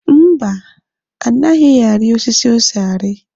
Mba, anaghị ari osisi ose ari.